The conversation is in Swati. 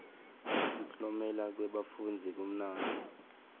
kuklomela kwebafundzi kumnanzi